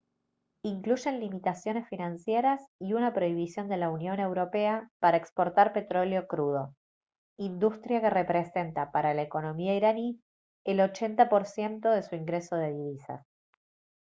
incluyen limitaciones financieras y una prohibición de la unión europea para exportar petróleo crudo industria que representa para la economía iraní el 80 % de su ingreso de divisas